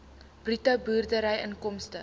bruto boerdery inkomste